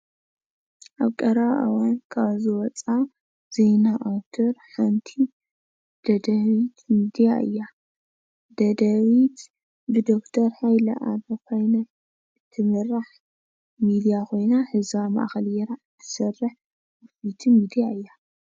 ኣብ ቀረባ እዋን ካብ ዝወፃ ዜና ኣውታር ሓንቲ ደደቢት ሚድያ እያ፡፡ ደደቢት ብዶክተር ሃይለ ኣረፋይነ ትምራሕ ሚድያ ኾይና ህዝባ ማእኸል ገይራ ትሰርሕ ሚድያ እያ፡፡